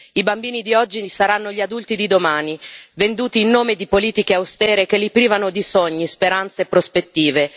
I bambini di oggi saranno gli adulti di domani, venduti in nome di politiche austere che li privano di sogni, speranze e prospettive.